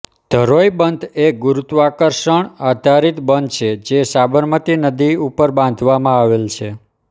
ધરોઈ બંધ એ ગુરુત્વાકર્ષણ આધારિત બંધ છે જે સાબરમતી નદી ઉપર બાંધવામાં આવેલ છે